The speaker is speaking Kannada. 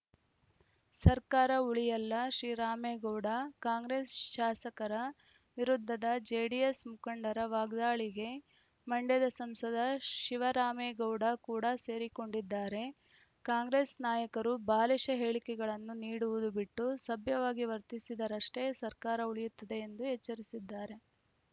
ಸರ್ಕಾರ ಉಳಿಯಲ್ಲಶಿವರಾಮೇಗೌಡ ಕಾಂಗ್ರೆಸ್‌ ಶಾಸಕರ ವಿರುದ್ಧದ ಜೆಡಿಎಸ್‌ ಮುಖಂಡರ ವಾಗ್ದಾಳಿಗೆ ಮಂಡ್ಯದ ಸಂಸದ ಶಿವರಾಮೇಗೌಡ ಕೂಡ ಸೇರಿಕೊಂಡಿದ್ದಾರೆ ಕಾಂಗ್ರೆಸ್‌ ನಾಯಕರು ಬಾಲಿಶ ಹೇಳಿಕೆಗಳನ್ನು ನೀಡುವುದು ಬಿಟ್ಟು ಸಭ್ಯವಾಗಿ ವರ್ತಿಸಿದರಷ್ಟೇ ಸರ್ಕಾರ ಉಳಿಯುತ್ತದೆ ಎಂದು ಎಚ್ಚರಿಸಿದ್ದಾರೆ